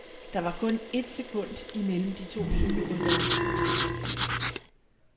Der var kun et sekund imellem de to cykelryttere.